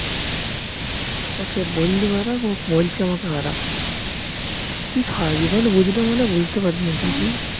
ওকে বললুম আর এক আর ও বলছে আমাকে আর এক তুই সারা জীবন বুঝলেও মনেহয় বুঝতে পারবি না